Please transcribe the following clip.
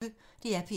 DR P1